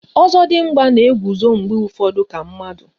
Ozodimgba na-eguzo mgbe ụfọdụ ka mmadụ